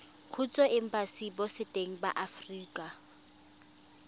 kgotsa embasing botseteng ba aforika